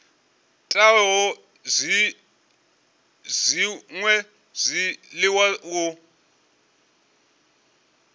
teaho na zwṅwe zwiḽiwa u